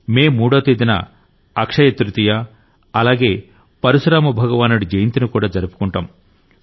మే మూడో తేదీన అక్షయ తృతీయ అలాగే పరశురామ భగవానుడి జయంతిని కూడా జరుపుకుంటాం